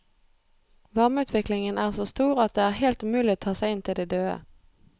Varmeutviklingen er så stor at det er helt umulig å ta seg inn til de døde.